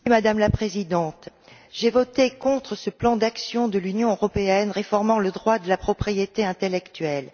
Madame la Présidente, j'ai voté contre ce plan d'action de l'Union européenne réformant le droit de la propriété intellectuelle.